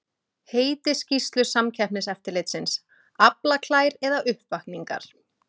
Heiti skýrslu Samkeppniseftirlitsins, Aflaklær eða uppvakningar?